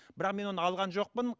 бірақ мен оны алған жоқпын